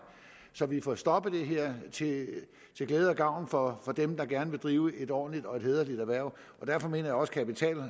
så vi får stoppet det her til glæde og gavn for dem der gerne vil drive et ordentligt og hæderligt erhverv derfor mener jeg også